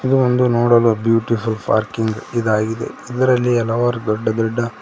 ಇದು ಒಂದು ನೋಡಲು ಬ್ಯೂಟಿಫುಲ್ ಪಾರ್ಕಿಂಗ್ ಅದರಲ್ಲಿ ಹಲವಾರು ದೊಡ್ದ ದೊಡ್ದ.